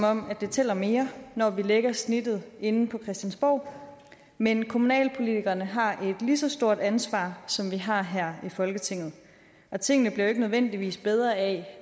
om det tæller mere når vi lægger snittet herinde på christiansborg men kommunalpolitikerne har et lige så stort ansvar som vi har her i folketinget og tingene bliver jo ikke nødvendigvis bedre af